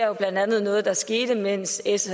jo blandt andet noget der skete mens s